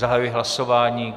Zahajuji hlasování.